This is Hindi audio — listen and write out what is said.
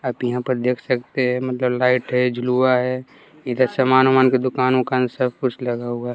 आप यहां पर देख सकते है मगल लाइट है झूलवा है इधर सामान वामान की दुकान उकान सब कुछ लगा हुआ है।